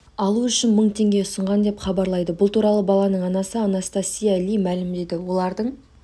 алу үшін мың теңге ұсынған деп хабарлайды бұл туралы баланың анасы анастасия ли мәлімдеді олардың